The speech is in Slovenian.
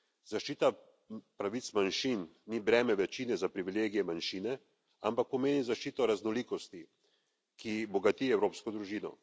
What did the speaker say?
Zaščita pravic manjšin ni breme večine za privilegije manjšine, ampak pomeni zaščito raznolikosti, ki bogati evropsko družino.